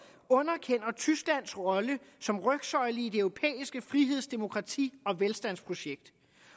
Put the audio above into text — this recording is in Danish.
underkender tysklands rolle som rygsøjle i det europæiske friheds demokrati og velstandsprojekt